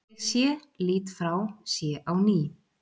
Ég sé, lít frá, sé á ný.